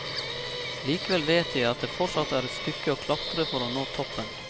Likevel vet jeg at det fortsatt er et stykke å klatre for å nå toppen.